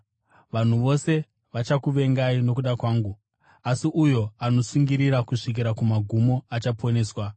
Vanhu vose vachakuvengai nokuda kwangu, asi uyo anotsungirira kusvikira kumagumo achaponeswa.